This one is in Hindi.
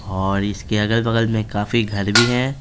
और इसके अगल-बगल में काफी घर भी हैं।